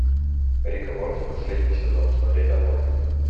рик и морти последний сезон смотреть онлайн